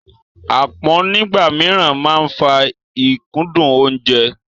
Aápọn nígbà mìíràn máa ń fa ìkúndù oúnjẹ.